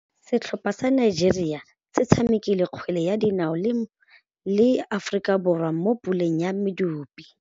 Setlhopha sa Nigeria se tshamekile kgwele ya dinaô le Aforika Borwa mo puleng ya medupe.